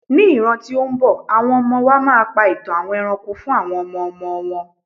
ní ràn ti o nbọ, awọn ọmọ wa ma pa itan àwọn eranko fún àwọn ọmọ ọmọ wọn